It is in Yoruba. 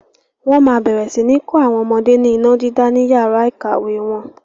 Wọn máa bẹ̀rẹ̀ sini kọ́ àwọn ọmọdé ní iná dídá ni yàrá ìkàwé wọn.